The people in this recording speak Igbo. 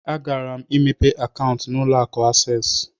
Agara m imepe Kaụntụ na ụlọ akụ Asees.